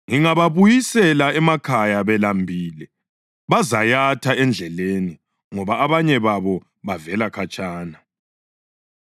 Ngingababuyisela emakhaya belambile bazayatha endleleni ngoba abanye babo bavela khatshana.”